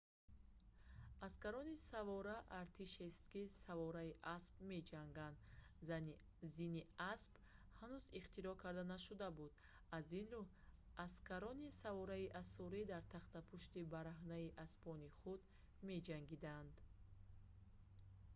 аскарони савора артишест ки савораи асп меҷанганд зини асп ҳанӯз ихтироъ карда нашуда буд аз ин рӯ аскарони савораи осурӣ дар тахтапушти бараҳнаи аспони худ меҷангиданд